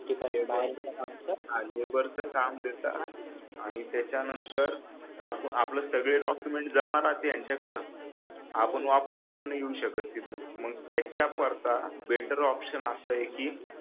हा लेबर च काम देतात त्याच्यानंतर आपले सगळे डॉकमेंट जमा राहते त्यांच्याकडं आपण वापस पण येऊ नाही शकत तिथून मग त्याच्या करता बेटर ऑपशन असाय की